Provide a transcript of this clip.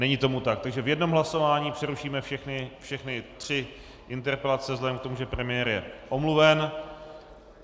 Není tomu tak, takže v jednom hlasování přerušíme všechny tři interpelace vzhledem k tomu, že premiér je omluven.